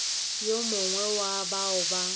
yo mongwe wa bao ba